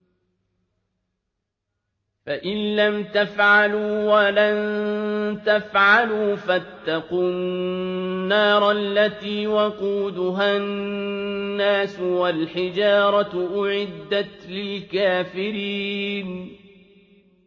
فَإِن لَّمْ تَفْعَلُوا وَلَن تَفْعَلُوا فَاتَّقُوا النَّارَ الَّتِي وَقُودُهَا النَّاسُ وَالْحِجَارَةُ ۖ أُعِدَّتْ لِلْكَافِرِينَ